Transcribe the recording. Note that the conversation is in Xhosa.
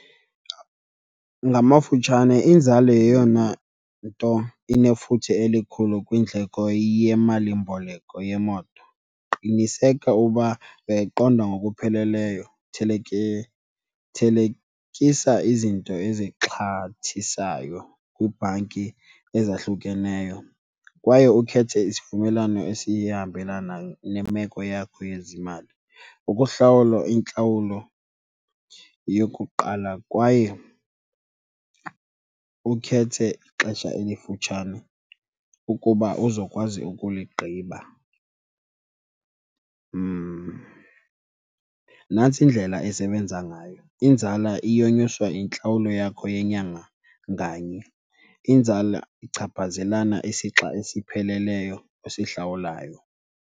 Ngamafutshane inzala yeyona nto inefuthe elikhulu kwindleko yemalimboleko yemoto, qniseka uba uyayiqonda ngokupheleleyo. Thelekisa izinto ezixhathisayo kwiibhanki ezahlukeneyo kwaye ukhethe isivumelwano esiyahambelana nemeko yakho yezimali ukuhlawula intlawulo yokuqala kwaye ukhethe ixesha elifutshane ukuba uzokwazi ukuligqiba. Nantsi indlela esebenza ngayo, inzala iyonyuswa yintlawulo yakho yenyanga nganye, inzala ichaphazelana isixa esipheleleyo osihlawulayo.